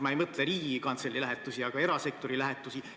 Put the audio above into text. Ma ei mõtle Riigikantselei lähetusi, vaid erasektori lähetusi.